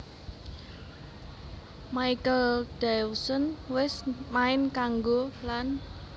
Michael Dawson wés main kanggo lan